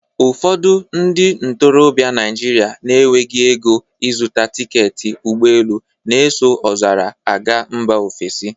Ụfọdụ ndị ntorobịa Naijiria na-enweghị ego ịzuta tiketi ụgbọelu na-eso ọzara a gaa mba ofesi